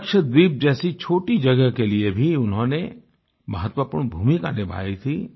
लक्षद्वीप जैसी छोटी जगह के लिए भी उन्होंने महत्वपूर्ण भूमिका निभाई थी